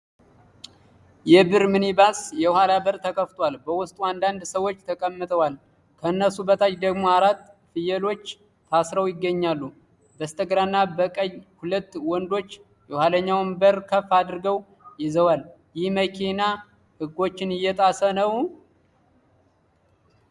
የብር ሚኒባስ የኋላ በር ተከፍቷል። በውስጡ አንዳንድ ሰዎች ተቀምጠዋል፣ ከነሱ በታች ደግሞ አራት ፍየሎች ታስረው ይገኛሉ። በስተግራና በቀኝ ሁለት ወንዶች የኋለኛውን በር ከፍ አድርገው ይዘዋል። ይህ መኪና ሕጎችን እየጣሰ ነው?